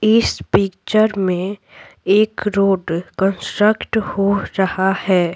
इस पिक्चर में एक रोड कंस्ट्रक्ट हो रहा है।